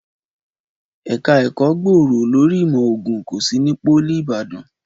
Ẹ̀ka ẹ̀kọ́ gbòòrò lórí ìmọ̀ ògùn kò sí ní Pólì Ìbàdàn